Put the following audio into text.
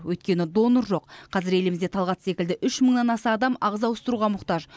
өйткені донор жоқ қазір елімізде талғат секілді үш мыңнан аса адам ағза ауыстыруға мұқтаж